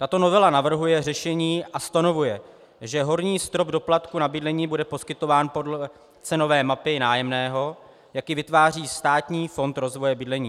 Tato novela navrhuje řešení a stanovuje, že horní strop doplatku na bydlení bude poskytován podle cenové mapy nájemného, jak ji vytváří Státní fond rozvoje bydlení.